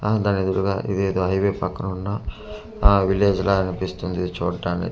అ దానెదురుగా ఇదేదో హైవే పక్కనున్న ఆ విలేజ్ లా అనిపిస్తుంది చూటాని--